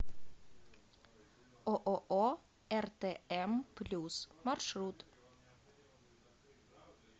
ооо ртм плюс маршрут